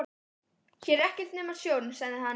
Hér er ekkert nema sjórinn, sagði hann.